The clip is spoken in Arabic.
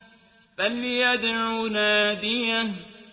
فَلْيَدْعُ نَادِيَهُ